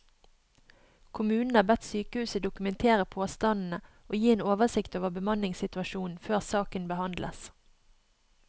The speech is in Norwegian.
Kommunen har bedt sykehuset dokumentere påstandene og gi en oversikt over bemanningssituasjonen før saken behandles.